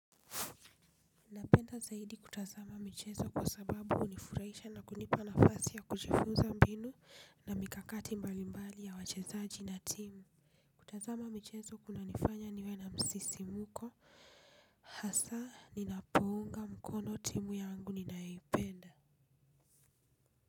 Ninapenda zaidi kutazama michezo kwa sababu hunifurahisha na kunipa nafasi ya kujifunza mbinu na mikakati mbalimbali ya wachezaji na timu. Kutazama michezo kunanifanya niwe na msisimko hasa ninapounga mkono timu yangu ninayoipenda.